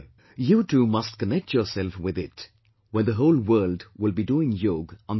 You too must connect yourself with it when the whole world will be doing Yog on that day